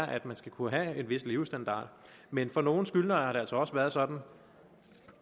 at man skal kunne have en vis levestandard men for nogle skyldnere har det altså også været sådan